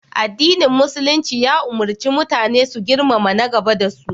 Addinin Musulumci ya ummarci mutane su girmama na gaba da su.